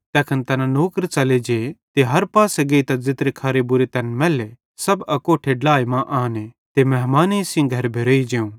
तैखन तैना नौकर च़ले जे ते हर पासे गेइतां ज़ेत्रे खरे बुरे तैन मैल्ले सब अकोट्ठे ड्लाए मां आने ते मेहमानेइं सेइं घर भेरतां भोवं